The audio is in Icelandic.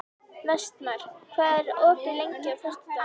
Vestmar, hvað er opið lengi á föstudaginn?